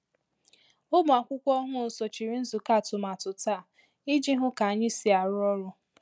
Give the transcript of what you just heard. Ụmụakwụkwọ ọhụụ sochiri nzukọ atụmatụ taa iji hụ ka anyị si arụ ọrụ.